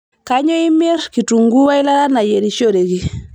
kainyio imir kitunguu we ilata nayierishoreki